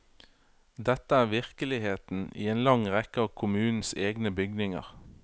Dette er virkeligheten i en lang rekke av kommunens egne bygninger.